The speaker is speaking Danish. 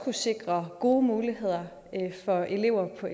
at sikre gode muligheder for elever på